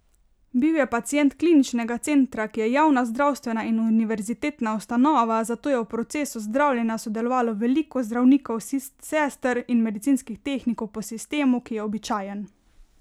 Bil je pacient Kliničnega centra, ki je javna zdravstvena in univerzitetna ustanova, zato je v procesu zdravljenja sodelovalo veliko zdravnikov, sester in medicinskih tehnikov po sistemu, ki je običajen.